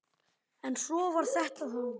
En svona var þetta þá.